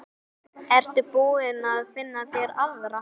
Ertu búinn að finna þér aðra?